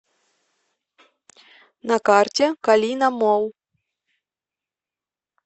на карте калина молл